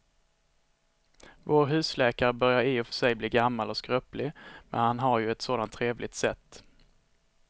Vår husläkare börjar i och för sig bli gammal och skröplig, men han har ju ett sådant trevligt sätt!